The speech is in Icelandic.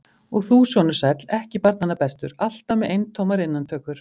Og þú, sonur sæll, ekki barnanna bestur, alltaf með eintómar innantökur!